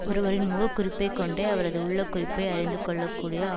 ஒருவரின் முகக் குறிப்பை கொண்டே அவரது உள்ள குறிப்பை அறிந்து கொள்ள கூடிய